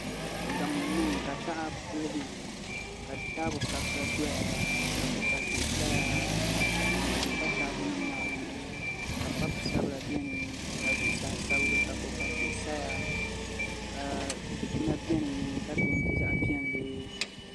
Gamo n niŋ ka taha piligi ka taabo kabisa doya ka kpukpali tihi saya ka tani ʒiɛ pa taabo nim maa zuɣu ka papu sabila biɛni ka zuɣusaa sabigi ka kpukpali tihi saya ka dikpuna biɛni ka peenti zaɣ piɛlli